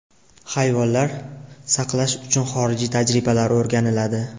Hayvonlar saqlash uchun xorijiy tajribalar o‘rganiladi.